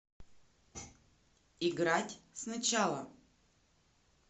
играть сначала